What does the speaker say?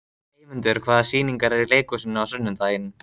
Eymundur, hvaða sýningar eru í leikhúsinu á sunnudaginn?